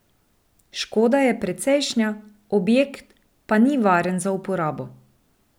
Škoda je precejšnja, objekt pa ni varen za uporabo.